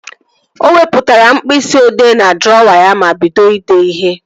O wepụtara mkpịsị odee n'drọwa ya ma bido idee ihe